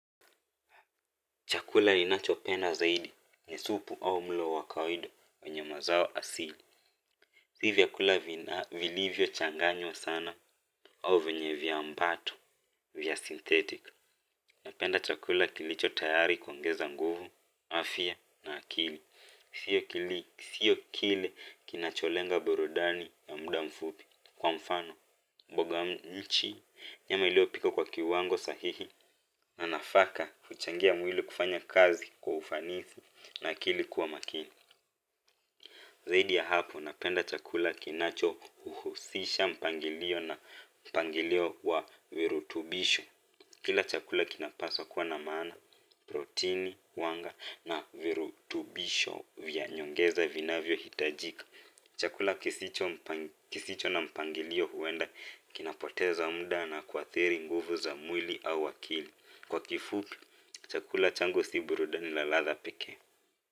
Chakula ninachopenda zaidi ni supu au mlo wa kawaida wanye mazao asili. Si vyakula vilivyo changanywa sana au venye vyambato vya synthetic. Napenda chakula kilicho tayari kuongeza nguvu, afya na akili si akili. Sio kile kinacholenga burudani ya muda mfupi. Kwa mfano, boga mchi nyama iliopikwa kwa kiwango sahihi na nafaka huchangia mwili kufanya kazi kwa ufanisi na akili kuwa makini zaidi ya hapo napenda chakula kinacho uhusisha mpangilio na mpangilio wa virutubisho kila chakula kinapaswa kuwa na maana, protini, wanga na virutubisho vya nyongeza vinavyohitajika chakula kisicho na mpangilio huenda kinapoteza mda na kuathiri nguvu za mwili au akili kwa kifupi, chakula changu si burudani na ladha pekee.